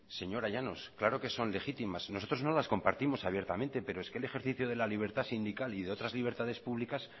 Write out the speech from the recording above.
señora llanos claro que son legítimas nosotros no las compartimos abiertamente pero es que el ejercicio de la libertad sindical y de otras libertades públicas